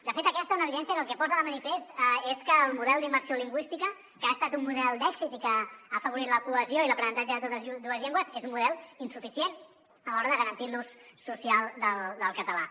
de fet aquesta és una evidència que el que posa de manifest és que el model d’immersió lingüística que ha estat un model d’èxit i que ha afavorit la cohesió i l’aprenentatge de totes dues llengües és un model insuficient a l’hora de garantir l’ús social del català